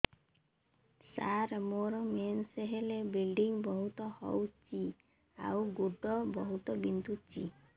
ସାର ମୋର ମେନ୍ସେସ ହେଲେ ବ୍ଲିଡ଼ିଙ୍ଗ ବହୁତ ହଉଚି ଆଉ ଗୋଡ ବହୁତ ବିନ୍ଧୁଚି